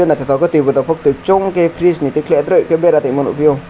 naitotok ke tv bo tongo kusongke freeze ni tikelai doroi bera tongma nogpio.